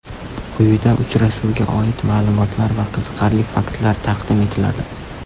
Quyida uchrashuvga oid ma’lumotlar va qiziqarli faktlar taqdim etiladi.